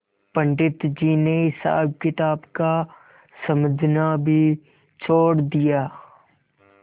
पंडित जी ने हिसाबकिताब का समझना भी छोड़ दिया